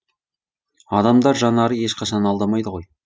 адам жанары ешқашан алдамайды ғой